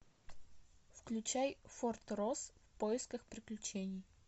включай форт росс в поисках приключений